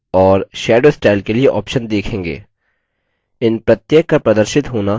इन प्रत्येक का प्रदर्शित होना calc की default settings है